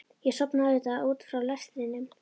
Ég sofnaði auðvitað út frá lestrinum.